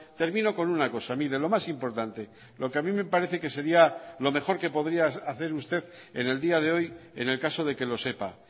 termino con una cosa mire lo más importante lo que a mí me parece que sería lo mejor que podría hacer usted en el día de hoy en el caso de que lo sepa